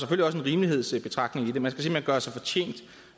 rimelighedsbetragtning i det man skal simpelt hen gøre sig fortjent